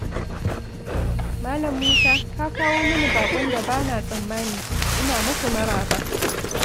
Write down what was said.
Malam Musa, ka kawo mini baƙon da ba na tsammani! Ina muku maraba.